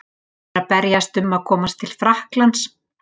Þeir eru að berjast um að komast til Frakklands.